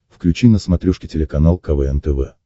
включи на смотрешке телеканал квн тв